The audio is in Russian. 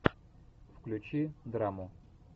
включи драму